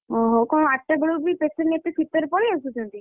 ଓହୋ କଣ ଆଠଟା ବେଳୁବି patient ଏତେ ଶୀତରେ ପଳେଇ ଆସୁଛନ୍ତି?